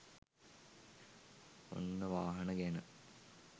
ඔන්න වාහන ගැන